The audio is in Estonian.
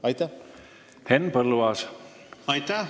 Aitäh!